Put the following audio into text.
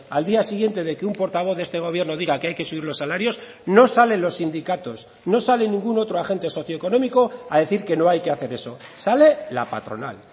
al día siguiente de que un portavoz de este gobierno diga que hay que subir los salarios no salen los sindicatos no sale ningún otro agente socioeconómico a decir que no hay que hacer eso sale la patronal